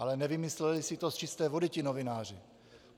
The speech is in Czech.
Ale nevymysleli si to z čisté vody ti novináři.